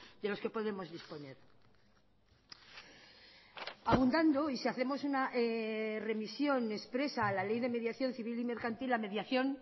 de los que podemos disponer abundando y si hacemos una remisión expresa a la ley de mediación civil y mercantil la mediación